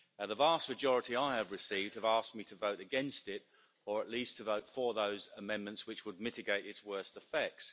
The vast majority I have received have asked me to vote against it or at least to vote for those amendments which would mitigate its worst effects.